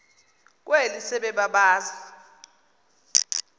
kweli sebe babazi